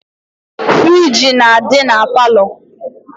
Friji na adi na parlour.